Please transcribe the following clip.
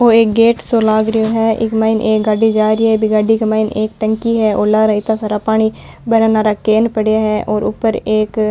ओ एक गेट सो लाग रेयो है इक माइन एक गाड़ी जा री है और लार इत्ता सारा पानी भरन आरा केन पड़या है और ऊपर एक --